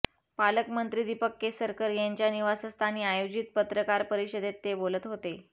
पालकमंत्री दीपक केसरकर यांच्या निवासस्थानी आयोजित पत्रकार परिषदेत ते बोलत होते